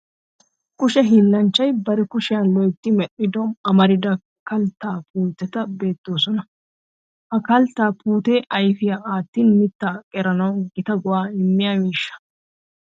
Kushe hiillanchchay bari kushiyan loytti medhdhido amarida kalttaa puuteti beettoosona. Ha kalttaa puutee ayfiya aattin mittaa qeranawu Gita go'aa immiya miishsha.